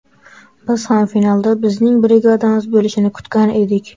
Biz ham finalda bizning brigadamiz bo‘lishini kutgan edik.